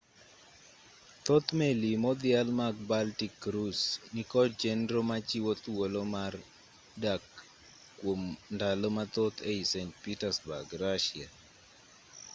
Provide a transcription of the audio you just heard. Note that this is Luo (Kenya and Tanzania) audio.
thoth meli modhial mag baltic cruise nikod chenro machiwo thuolo mar dak kwom ndalo mathoth ei st petersburg russia